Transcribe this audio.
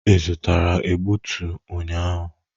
Ị zụtara egbutu ụnyaahụ?